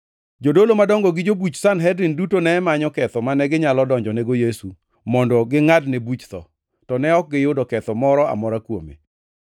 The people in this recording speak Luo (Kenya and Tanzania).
Jodolo madongo gi jobuch Sanhedrin duto ne manyo ketho mane ginyalo donjonego Yesu mondo gingʼadne buch tho, to ne ok giyudo ketho moro amora kuome.